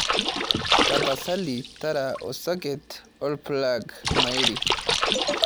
tapasali tara esoket orpulag mairi